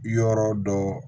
Yɔrɔ dɔ